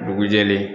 Dugu jɛlen